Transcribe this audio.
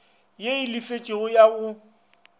ye e lefetšwego ya go